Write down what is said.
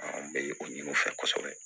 An bɛ o ɲini u fɛ kosɛbɛ